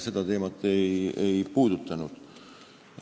Seda teemat ei puudutatud.